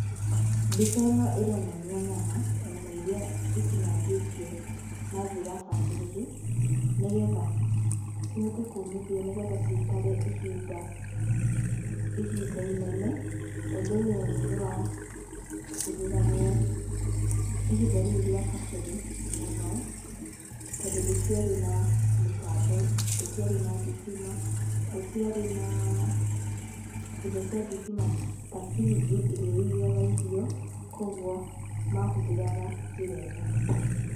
Mbica ĩno ĩronania nyama, nyama iria itinangĩtio na njĩra bacĩrĩru, nĩgetha cihote kũmithio, nĩgetha ciikare ihinda ihinda inene. Ũndũ ũyũ nĩ wahũthĩragwo ihinda rĩu rĩa kabere mũno, tondũ gũtiarĩ na mĩtambo, gũtiarĩ na thitima, gũtiarĩ na indo cia thitima ta fridge ĩrĩa ĩigaga irio, kuoguo mahuthiraga njira ĩno.